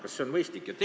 Kas see on mõistlik?